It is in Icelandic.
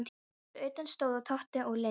Fyrir utan stóðu Tóti og Linja.